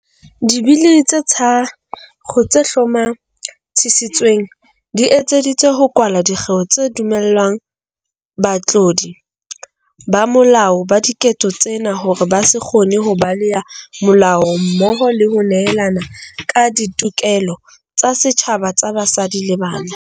Dibili tse tharo tse hlomathisitsweng di etseditswe ho kwala dikgeo tse dumellang batlodi ba molao ba diketso tsena hore ba se kgone ho baleha molao mmoho le ho nehelana ka ditokelo tsa setjhaba tsa basadi le bana.